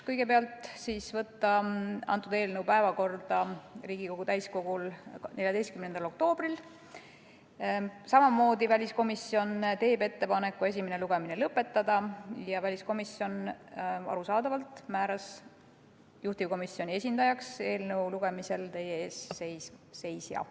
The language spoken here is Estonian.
Kõigepealt otsustati võtta eelnõu Riigikogu täiskogu 14. oktoobri päevakorda, samuti tegi väliskomisjon ettepaneku esimene lugemine lõpetada ning arusaadavalt määras väliskomisjon juhtivkomisjoni esindajaks eelnõu lugemisel teie ees seisja.